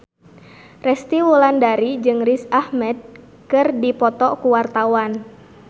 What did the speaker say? Resty Wulandari jeung Riz Ahmed keur dipoto ku wartawan